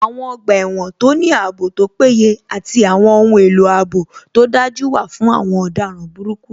Àwọn ọgbà ẹ̀wọ̀n tó ní ààbò tó péye àti àwọn ohun èlò ààbò tó dájú wà fún àwọn ọ̀daràn burúkú